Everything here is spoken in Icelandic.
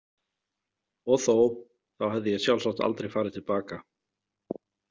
Og þó, þá hefði ég sjálfsagt aldrei farið til baka.